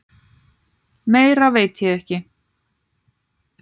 Meira veit ég ekki.